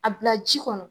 A bila ji kɔnɔ